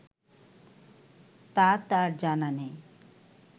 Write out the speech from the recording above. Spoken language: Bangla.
তা তার জানা নেই